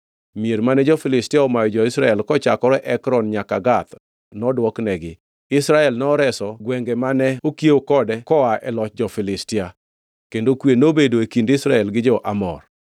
Mier mane jo-Filistia omayo jo-Israel kochakore Ekron nyaka Gath nodwoknegi, Israel noreso gwenge mane okiewo kode koa e loch jo-Filistia. Kendo kwe nobedo e kind Israel gi jo-Amor.